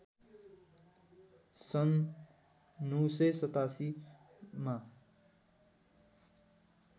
सन् ९८७ मा